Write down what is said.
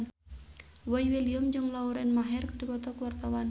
Boy William jeung Lauren Maher keur dipoto ku wartawan